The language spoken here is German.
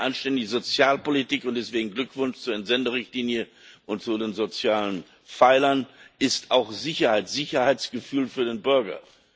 eine anständige Sozialpolitik und deswegen Glückwunsch zur Entsenderichtlinie und zu den sozialen Pfeilern ist auch Sicherheit, Sicherheitsgefühl für den Bürger.